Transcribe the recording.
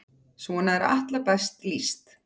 Svona er Atla best lýst.